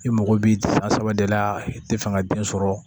I mago b'i san saba de la i tɛ fɛŋɛ den sɔrɔ